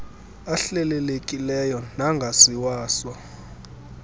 ahlelelekileyo nangasiwa so